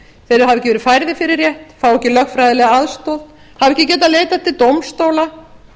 þeir hafa ekki verið færðir fyrir rétt fá ekki lögfræðilega aðstoð hafa ekki getað leitað til dómstóla